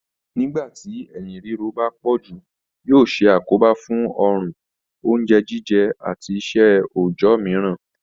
Nígbà tí eyín ríro bá pọ̀ jù yóò ṣe àkóbá fún orun, oúnjẹ jíjẹ àti iṣẹ́ òòjọ́ mìíràn.